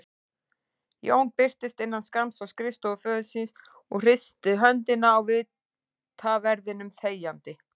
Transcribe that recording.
Jón birtist innan skamms á skrifstofu föður síns og hristi höndina á vitaverðinum þegjandi.